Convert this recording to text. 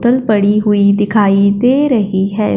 तल पड़ी हुई दिखाई दे रही है।